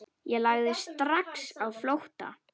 Ég lagði strax á flótta.